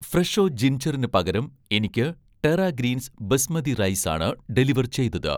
ഫ്രെഷോ' ജിൻജറിന് പകരം എനിക്ക് 'ടെറ ഗ്രീൻസ്' ബസ്മതി റൈസ് ആണ് ഡെലിവർ ചെയ്തത്